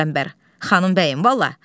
Qəmbər, xanım bəyim, vallah.